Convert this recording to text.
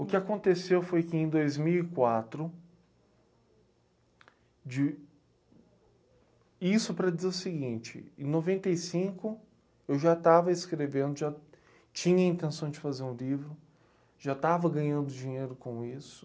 O que aconteceu foi que em dois mil e quatro... De... isso para dizer o seguinte, em noventa e cinco eu já estava escrevendo, já tinha a intenção de fazer um livro, já estava ganhando dinheiro com isso.